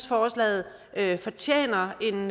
forslaget fortjener en